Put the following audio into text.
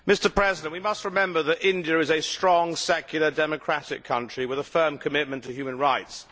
Mr President, we must remember that India is a strong, secular democratic country with a firm commitment to human rights.